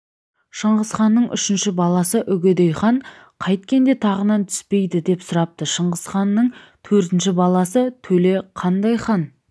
шыңғысханның үшінші баласы үгедей хан қайткенде тағынан түспейді деп сұрапты шыңғыстың төртінші баласы төле қандай хан